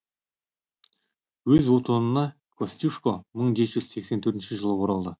өз отанына костюшко мың жеті жүз сексен төртінші жылы оралды